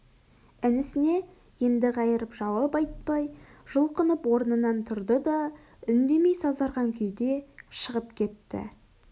інісіне енді қайырып жауап айтпай жұлқынып орнынан тұрды да үндемей сазарған күйде шығып кетті